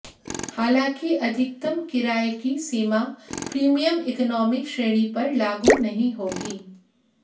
हालांकि अधिकतम किराये की सीमा प्रीमियम इकोनॉमी श्रेणी पर लागू नहीं होगी